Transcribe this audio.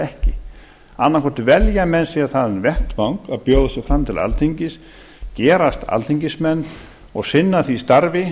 ekki annaðhvort velja menn sér þann vettvang að bjóða sig fram til alþingis gerast alþingismenn og sinna því starfi